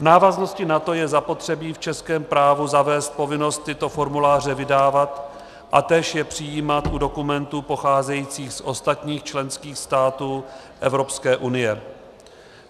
V návaznosti na to je zapotřebí v českém právu zavést povinnost tyto formuláře vydávat a též je přijímat u dokumentů pocházejících z ostatních členských států Evropské unie.